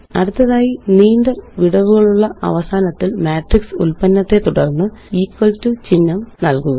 അടുത്തതായി നീണ്ട വിടവുകളുള്ള അവസാനത്തില് മാട്രിക്സ് ഉല്പന്നത്തെ തുടര്ന്ന്equal ടോ ചിഹ്നം നല്കുക